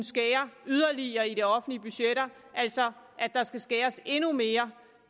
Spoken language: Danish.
skære yderligere i de offentlige budgetter altså at der skal skæres endnu mere